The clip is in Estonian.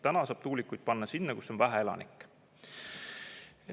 Täna saab tuulikuid panna sinna, kus on vähe elanikke.